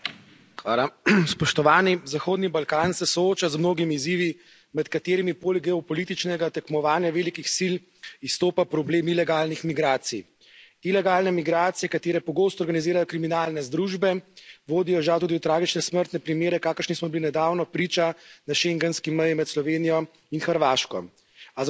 Spoštovana predsedujoča, Zahodni Balkan se sooča z mnogimi izzivi, med katerimi poleg geopolitičnega tekmovanja velikih sil izstopa problem ilegalnih migracij. Ilegalne migracije, katere pogosto organizirajo kriminalne združbe, vodijo žal tudi v tragične smrtne primere, kakršnim smo bili nedavno priča na schengenski meji med Slovenijo in Hrvaško. A za usodo regije